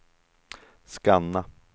scanna